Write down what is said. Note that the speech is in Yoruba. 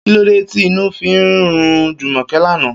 Kílódé tí inú fi rún Jùmò̩ké lánàá?